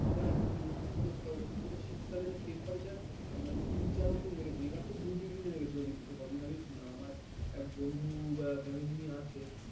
আবার এখন বিগত কয়েক বছর ধরে শীতকালে temperature তিন চার অবধি নেমে গেছে এবার তো দুই degree নেমে গেছিল কদিন আগেই শুনলাম আমার এক বন্ধু family নিয়ে আছে